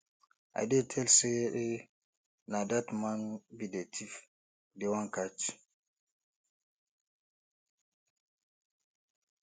i dey tell say na dat man be the thief dey wan catch